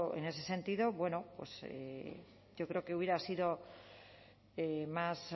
en ese sentido creo que hubiera sido más